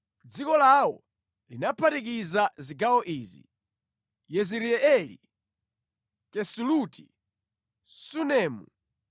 Dziko lawo linaphatikiza zigawo izi: Yezireeli, Kesuloti, Sunemu,